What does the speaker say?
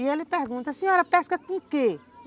E ele pergunta, a senhora pesca com o quê?